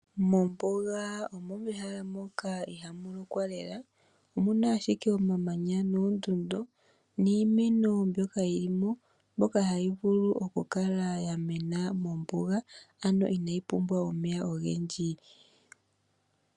Mombuga omo mehala moka ihamu lokwa lela. Omu na ashike omamanya noondundu niimeno mbyoka yi li mo, mbyoka hayi vulu okukala ya mena mombuga ano inayi pumbwa omeya ogendji.